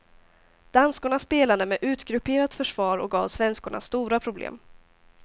Danskorna spelade med utgrupperat försvar och gav svenskorna stora problem.